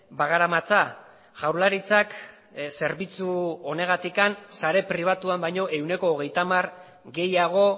bagaramatza jaurlaritzak zerbitzu honegatik sare pribatuan baino ehuneko hogeita hamar gehiago